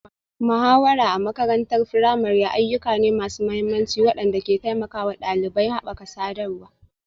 Muhawara a makarantar firamare ayyuka ne masu mahimmanci waɗanda ke taimakawa ɗalibai haɓaka sadarwa,